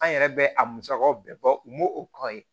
An yɛrɛ bɛ a musakaw bɛɛ bɔ u m'o o kɔrɔ ye